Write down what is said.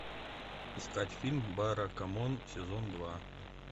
искать фильм баракамон сезон два